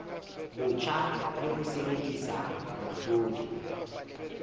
botjha le ho sebedisa mehlodi